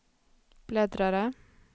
bläddrare